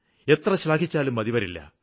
എത്ര ശ്ലാഘിച്ചാലും മതിവരില്ല